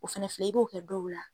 O fɛnɛ filɛ i b'o kɛ dɔw la